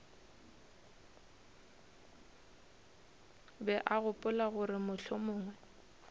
be a gopola gore mohlomong